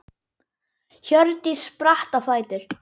Hjördís spratt á fætur.